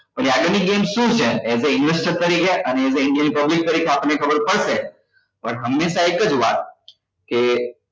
હવે આગળ ની game શુ છે as a investor તરીકે અને as a indian public તરીકે આપણને ખબર પડશે પણ હંમેશા એક જ વાત કે